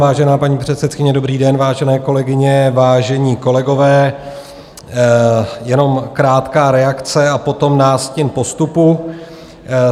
Vážená paní předsedkyně, dobrý den, vážené kolegyně, vážení kolegové, jenom krátká reakce a potom nástin postupu.